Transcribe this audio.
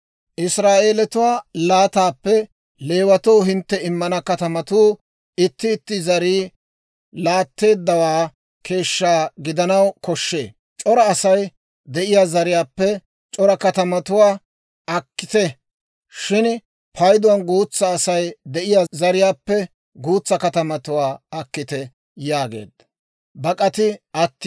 Israa'eelatuwaa laataappe Leewatoo hintte immana katamatuu itti itti zarii laatteeddawaa keeshshaa gidanaw koshshee; c'ora Asay de'iyaa zariyaappe c'ora katamatuwaa akkiite; shin payduwaan guutsaa Asay de'iyaa zariyaappe guutsaa katamatuwaa akkiite» yaageedda.